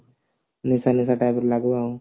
ନିଶା ନିଶା type ର ଲାଗିବ